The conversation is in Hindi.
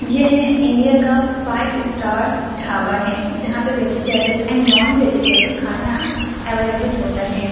यह है इंडिया का फाइव स्टार ढाबा है जहां पे वेजिटेबल एंड नॉन वेजिटेबल खाना अवेलेबल होता है।